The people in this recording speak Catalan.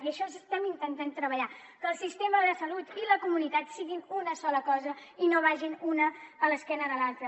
i en això estem intentant treballar que el sistema de salut i la comunitat siguin una sola cosa i no vagin una d’esquena a l’altra